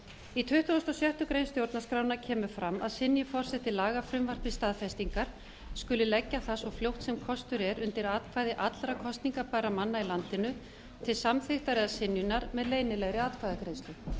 í tuttugasta og sjöttu grein stjórnarskrárinnar kemur fram að synji forseti lagafrumvarpi staðfestingar skuli leggja það svo fljótt sem kostur er undir atkvæði allra kosningabærra manna í landinu til samþykktar eða synjunar með leynilegri atkvæðagreiðslu